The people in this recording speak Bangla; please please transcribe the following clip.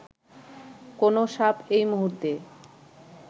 কোন সাপ এই মুহূর্তে